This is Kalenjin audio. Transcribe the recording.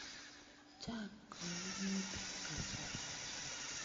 Chang' kaimutik kasari.